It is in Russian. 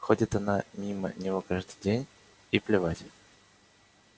ходит она мимо него каждый день и плевать